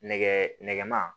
Nɛgɛ nɛgɛma